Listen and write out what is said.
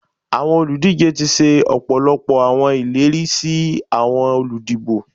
Awọn oludije ti ṣe ọpọlọpọ awọn ileri si awọn oludibo.